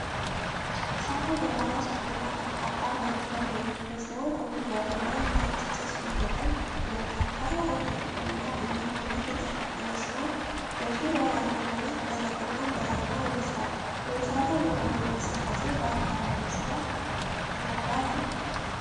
እሳተ ገሞራው ሰፊና ጠፍጣፋ መሬት ላይ የሚገኝ ሲሆን፣ ከጉድጓዱ ላይ ነጭ ጭስ ወደ ላይ ይወጣል። ተራራው በጥቁርና ቡናማ አመድ የተሸፈነ ሲሆን፣ በዙሪያው ያለው መሬት ደረቅና በረሃማ ይመስላል። የእሳተ ገሞራው እንቅስቃሴ ለአካባቢው ስጋት ይፈጥራልን?